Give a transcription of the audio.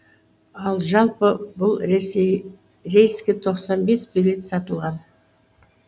ал жалпы бұл рейске тоқсан бес билет сатылған